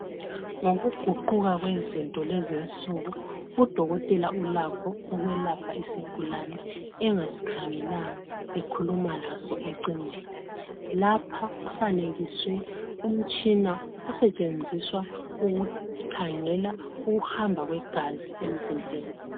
Ngokuguquka kwezinto kulezinsuku udokotela ulakho ukwelapha isgulane engaskhangelanga ekhuluma laso ecingweni. Lapha kufanekiswe umtshina osetshenziswa kukhangelwa ukuhamba kwegazi emzimbeni.